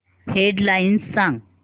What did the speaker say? head lines सांग